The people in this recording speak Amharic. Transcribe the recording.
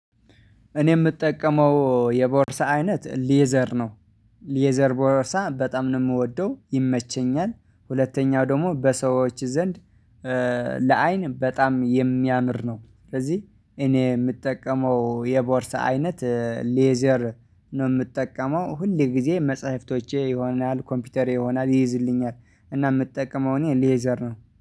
እኔ የምጠቀመው የቦርሳ አይነት ሌዘር ነው። ሌዘር ቦርሳ በጣም ነው የምወደው ይመቸኛል ሁለተኛው ደግሞ በሰዎች ዘንድ ለአይን በጣም የሚያምር ነው። ስለዚህ እኔ የምጠቀመው የቦርሳ አይነት ሌዘር ነው የምጠቀመው ሁሌ ጊዜ መጽሐፍቶቼ ይሆናል ኮምፒውተር ይሆናል ይይዝልኛል። እና የምትጠቀመውን የሌዘር ነው